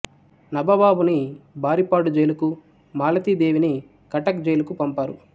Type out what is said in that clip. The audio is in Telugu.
నబబాబుని బారిపాడు జైలుకు మాలతీ దేవిని కటక్ జైలుకు పంపారు